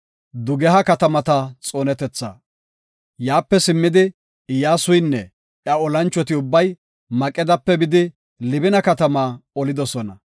Yaape simmidi, Iyyasuynne iya olanchoti ubbay Maqedape bidi Libina katamaa olidosona.